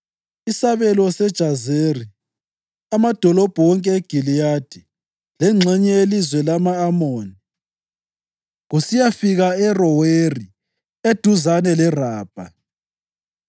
Isabelo seJazeri, amadolobho wonke eGiliyadi lengxenye yelizwe lama-Amoni kusiyafika e-Aroweri, eduzane leRabha;